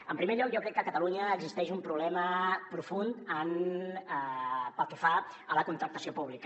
en primer lloc jo crec que a catalunya existeix un problema profund pel que fa a la contractació pública